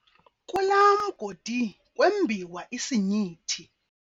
Kulaa mgodi kwembiwa isinyithi.